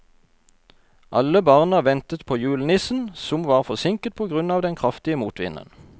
Alle barna ventet på julenissen, som var forsinket på grunn av den kraftige motvinden.